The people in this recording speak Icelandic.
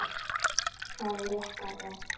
Það rétta er.